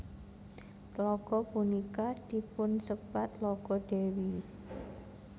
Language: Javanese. Tlaga punika dipunsebat Tlaga Dewi